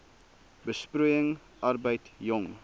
besproeiing arbeid jong